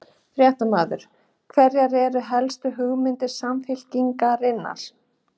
Fréttamaður: Hverjar eru helstu hugmyndir Samfylkingarinnar?